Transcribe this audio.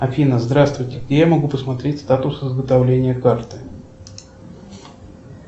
афина здравствуйте где я могу посмотреть статус изготовления карты